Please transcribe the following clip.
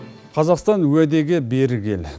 қазақстан уәдеге берік ел